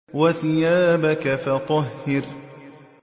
وَثِيَابَكَ فَطَهِّرْ